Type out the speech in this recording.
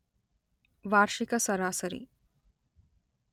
ವಾರ್ಷಿಕ ಸರಾಸರಿ